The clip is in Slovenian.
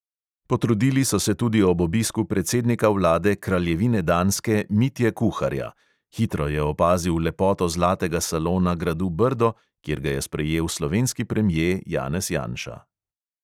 Potrudili so se tudi ob obisku predsednika vlade kraljevine danske mitje kuharja; hitro je opazil lepoto zlatega salona gradu brdo, kjer ga je sprejel slovenski premje janez janša.